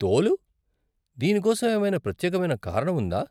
తోలు? దీనికోసం ఏమైనా ప్రత్యేకమైన కారణం ఉందా?